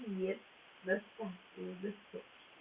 привет